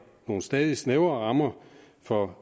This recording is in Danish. nogle stadig snævrere rammer for